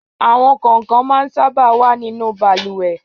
Àwọn kọ̀ǹkàn máa sábà wà nínú balùwẹ̀.